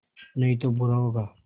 नहीं तो बुरा होगा